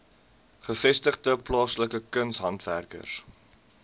gevestigde plaaslike kunshandwerkers